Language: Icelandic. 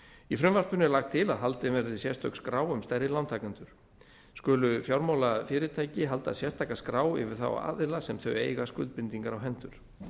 í frumvarpinu er lagt til að haldin verði sérstök skrá um stærri lántakendur skulu fjármálafyrirtæki halda sérstaka skrá yfir þá aðila sem þau eiga skuldbindingar á hendur